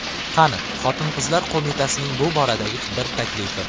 Qani Xotin-qizlar qo‘mitasining bu boradagi bir taklifi?